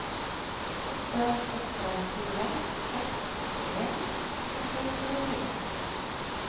åtte åtte fire seks førtien ett hundre og tjuefire